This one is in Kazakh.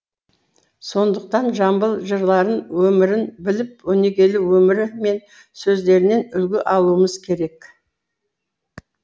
сондықтан жамбыл жырларын өмірін біліп өнегелі өмірі мен сөздерінен үлгі алуымыз керек